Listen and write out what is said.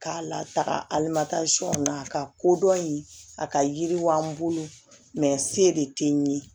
K'a lataga alimasɔn na a ka kodɔn in a ka yiriwa an bolo se de tɛ n ye